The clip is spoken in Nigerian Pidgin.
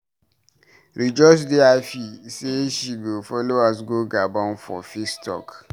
Rejoice dey happy say she go follow us go Gabon for peace talk.